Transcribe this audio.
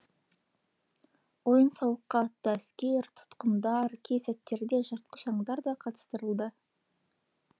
ойын сауыққа атты әскер тұтқындар кей сәттерде жыртқыш аңдар да қатыстырылды